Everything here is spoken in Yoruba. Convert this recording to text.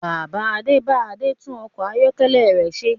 Bàbá Adé bá Adé tún ọkọ̀ ayọ́kẹ́lẹ̀ rẹ ṣe